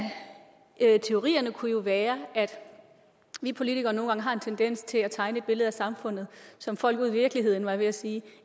teorierne kunne jo være at vi politikere nogle gange har en tendens til at tegne et billede af samfundet som folk ude i virkeligheden var jeg ved at sige